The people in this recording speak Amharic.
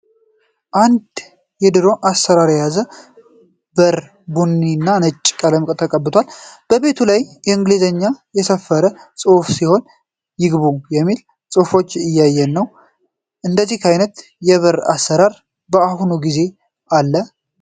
አንድ የድሮ አሰራር የያዘ በር ቡኒ እና ነጭ ቀለም ተቀብቷል። በቤቱ ላይም በእንግሊዘኛ የሰፈረ ጽሁፍ ሲሆን "ይግቡ" የሚል ጽሁፍንም የያዘ ነው። እንደዚህ አይነት የበር አሰራር በአሁኑ ጊዜ አለ?